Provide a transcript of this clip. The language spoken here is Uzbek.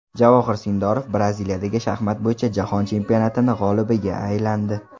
Javohir Sindorov Braziliyadagi shaxmat bo‘yicha Jahon chempionati g‘olibiga aylandi.